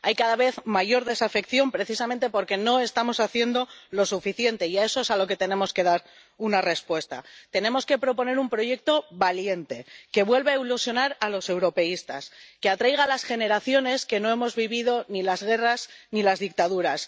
Hay cada vez mayor desafección precisamente porque no estamos haciendo lo suficiente, y a eso es a lo que tenemos que dar una respuesta tenemos que proponer un proyecto valiente, que vuelva a ilusionar a los europeístas, que atraiga a las generaciones que no hemos vivido ni las guerras ni las dictaduras.